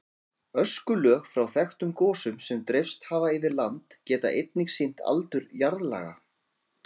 Öskulög frá þekktum gosum sem dreifst hafa yfir land geta einnig sýnt aldur jarðlaga.